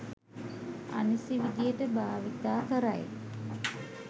අනිසි විදිහට භාවිතා කරයි